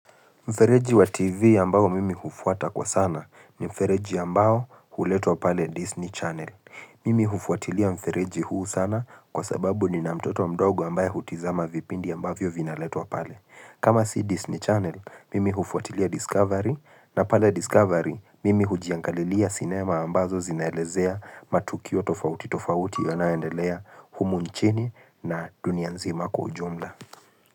Mfereji wa TV ambao mimi hufuata kwa sana ni mfereji ambao huletwa pale Disney Channel. Mimi hufuatilia mfereji huu sana kwa sababu nina mtoto mdogo ambaye hutizama vipindi ambavyo vinaletwa pale. Kama si Disney Channel, mimi hufuatilia Discovery na pale Discovery mimi hujiangalilia cinema ambazo zinaelezea matukio tofauti tofauti yanayoendelea humu nchini na dunia nzima kwa ujumla.